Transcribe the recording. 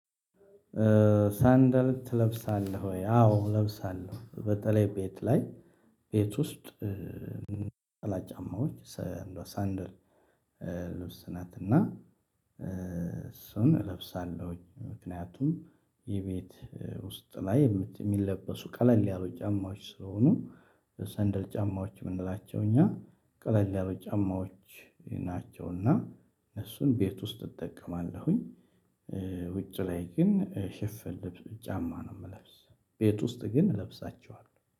ሰንደር ትለብሳለህ ወይ? አዎ እለብሳለሁ በተለይ ቤት ላይ ቤት ውስጥ። ጫማዎች ሰ ያለው ሰንደል ልብስ ናት እና እሱን እለብሳለሁ። ምክንያቱም የቤት ውስጥ ላይ የሚለበሱ ቀለል ያሉ ጫማዎች ስለሆኑ ሰንደል ጫማ የምንላቸው ጫማ ቀለል ያሉ ጫማወች ናቸው። እና እሱን ቤት ውስጥ እጠቀማለሁኝ። ውጭ ላይ ግን ሽፍን ልብስ ጫማ ነው የምለብስ። ቤት ውስጥ ግን እለብሳቸዋለሁ